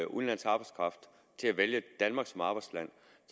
udenlandsk arbejdskraft til at vælge danmark som arbejdsland